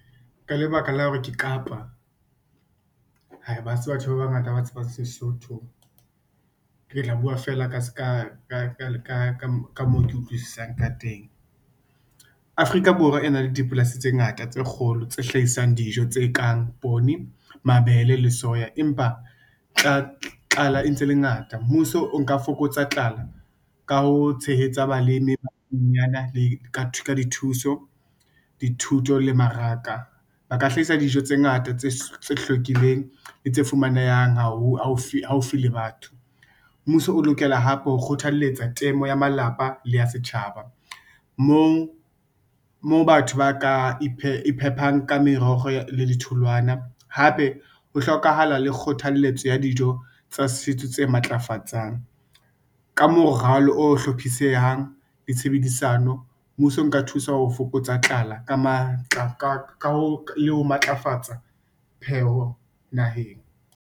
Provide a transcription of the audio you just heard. Ka lebaka la hore ke qapa, hae ha se batho ba bangata ba tsebang Sesotho, ke tla buwa feela ka ska Ka moo ke utlwisisang ka teng. Afrika Borwa e na le dipolasi tse ngata tse kgolo tse hlahisang dijo tse kang poone, mabele le soya empa tlala e ntse e le ngata mmuso o nka fokotsa tlala ka ho tshehetsa baliminyana le ka ithuso, dithuto le maraka ba ka hlahisa dijo tse ngata tse hlwekileng le tse fumanehang haufile batho. Mmuso o lokela hape ho kgothaletsa temo ya malapa le ya setjhaba, mo o batho ba ka iphepang ka meroho le ditholwana hape ho hlokahala le kgothalletso ya dijo tsa setso tse matlafatsang ka moralo o hlophisehang ditshebedisano, mmuso o nka thusa ho fokotsa tlala ka matla le ho matlafatsa pheho naheng.